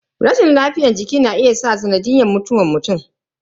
Rashin lafiyar jiki na iya zama sanadin mutuwa mutum.